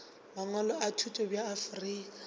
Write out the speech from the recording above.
mangwalo a thuto bja afrika